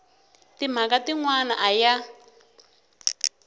timhaka tin wana a ya